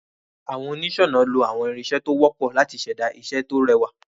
Àwon onísònà lo àwon irinsé to wópò láti sèda isé ti o rewà